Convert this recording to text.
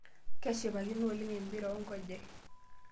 Kashipakino oleng' empira oonkejek.